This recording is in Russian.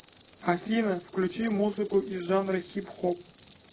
афина включи музыку из жанра хип хоп